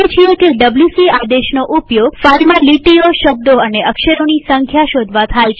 આપણે જાણીએ છીએ કે ડબ્લ્યુસી આદેશનો ઉપયોગ ફાઈલમાં લીટીઓશબ્દો અને અક્ષરોની સંખ્યા શોધવા થાય છે